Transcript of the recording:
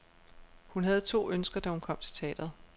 Hun havde to ønsker, da hun kom til teatret.